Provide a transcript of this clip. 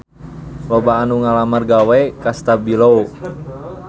Loba anu ngalamar gawe ka Stabilo